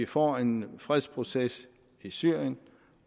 få en fredsproces i syrien